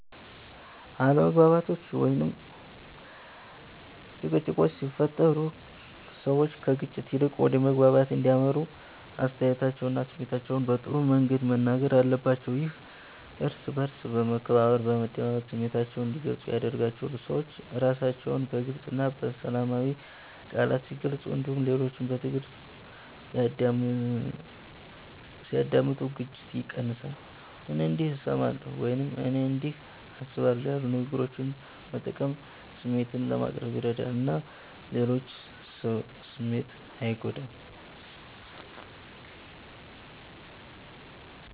አለመግባባቶች ወይም ጭቅጭቆች ሲፈጠሩ ሰዎች ከግጭት ይልቅ ወደ መግባባት እንዲያመሩ አስተያየታቸውንና ስሜታቸውን በጥሩ መንገድ መናገር አለባቸው። ይህም እርስ በእርስ በመከባበር፣ በመደማመጥ ስሜታቸውን እንዲገልጹ ያደርጋቸዋል። ሰዎች ራሳቸውን በግልፅ እና በሰላማዊ ቃላት ሲገልጹ እንዲሁም ሌሎችን በትዕግስት ሲያዳምጡ ግጭት ይቀንሳል። “እኔ እንዲህ እሰማለሁ” ወይም “እኔ እንዲህ አስባለሁ” ያሉ ንግግሮችን መጠቀም ስሜትን ለማቅረብ ይረዳል እና የሌሎችን ስሜት አይጎዳም።